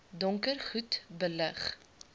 donker goed belig